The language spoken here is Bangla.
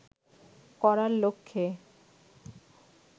করার লক্ষ্যে